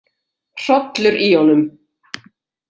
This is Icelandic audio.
Hrollur í honum.